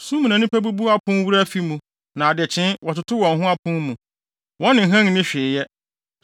Sum mu na nnipa bubu apon wura afi mu, na adekyee, wɔtoto wɔn ho apon mu; wɔne hann nni hwee yɛ.